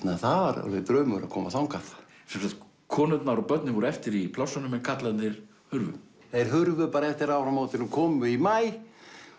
það var alveg draumur að koma þangað sem sagt konurnar og börnin voru eftir í plássunum en karlarnir hurfu þeir hurfu bara eftir áramótin og komu í maí